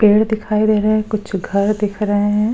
पेड़ दिखाई दे रहे हैं कुछ घर दिख रहे हैं।